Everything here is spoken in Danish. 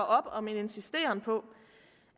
op om en insisteren på